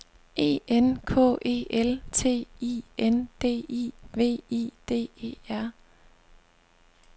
E N K E L T I N D I V I D E R